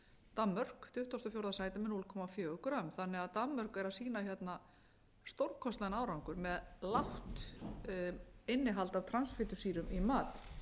danmörk tuttugasta og fjórða sæti með núll komma fjögur g þannig að danmörk er að sýna hérna stórkostlegan árangur með lágt innihald af transfitusýrum í mat